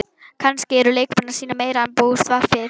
Kannski eru leikmenn að sýna meira en búist var við?